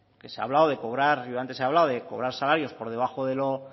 que se ha hablado de cobrar yo antes he hablado de cobrar salarios por debajo